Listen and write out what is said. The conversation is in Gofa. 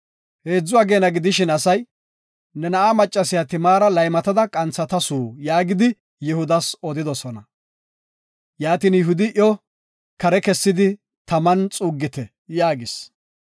Heedzu ageena gidishin asay, “Ne na7aa maccasiya Timaara laymatada qanthatasu” yaagidi Yihudas odidosona. Yihudi, “Iyo kare kessidi taman xuuggite” yaagis.